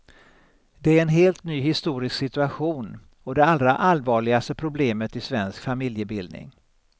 Det är en helt ny historisk situation och det allra allvarligaste problemet i svensk familjebildning.